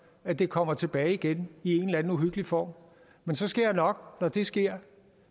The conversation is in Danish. at det kommer tilbage igen i en eller anden uhyggelig form men så skal jeg nok når det sker